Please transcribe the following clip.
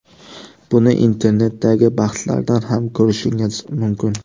Buni internetdagi bahslardan ham ko‘rishingiz mumkin.